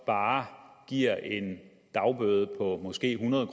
bare giver en dagbøde på måske hundrede